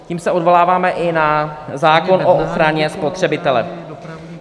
Tím se odvoláváme i na zákon o ochraně spotřebitele.